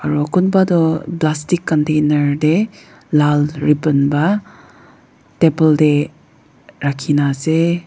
aro kunba toh plastic container tae laal rebon pa table tae rakhina ase.